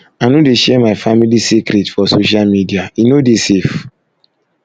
i no dey share my family secret for social media e no dey safe